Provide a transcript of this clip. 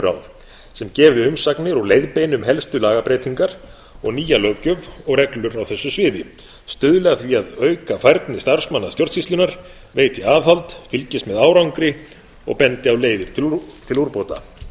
regluráð sem gefi umsagnir og leiðbeini um helstu lagabreytingar og nýja löggjöf og reglur á þessu sviði stuðli að því að auka færni starfsmanna stjórnsýslunnar veiti aðhald fylgist með árangri og bendi á leiðir til úrbóta áður en